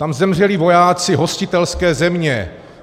Tam zemřeli vojáci hostitelské země.